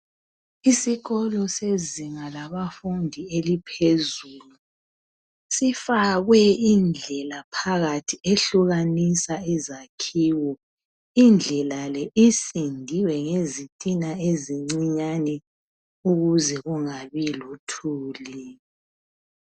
Isikolo sezinga labafundi eliphezulu, sifakwe indlela phakathi ehlukanisa izakhiwo. Indlela le isindiwe ngezitina ezincinyane ukuze kungabi lothuli.